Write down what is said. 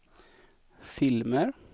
filmer